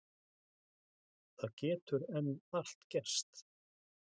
Það getur enn allt gerst